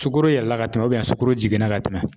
Sukoro yɛlɛla ka tɛmɛ sukaro jiginna ka tɛmɛ